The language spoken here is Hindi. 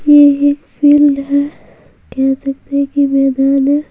ये एक फ़ील्ड है कह सकते है कि मैदान हैं।